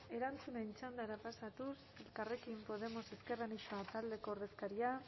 erantzunen txandara pasatuz elkarrekin podemos ezker anitza taldeko ordezkaria